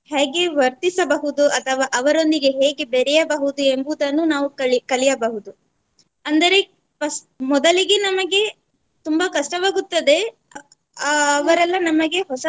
ಹೇಗೆ ವರ್ತಿಸಬಹುದು ಅಥವಾ ಅವರೊಂದಿಗೆ ಹೇಗೆ ಬೆರೆಯಬಹುದು ಎಂಬುದನ್ನು ನಾವು ಕಲಿ~ ಕಲಿಯಬಹುದು ಅಂದರೆ first ಮೊದಲಿಗೆ ನಮಗೆ ತುಂಬಾ ಕಷ್ಟವಾಗುತ್ತದೆ. ಅಹ್ ಅವರೆಲ್ಲ ನಮಗೆ ಹೊಸ